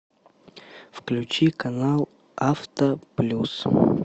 включи канал авто плюс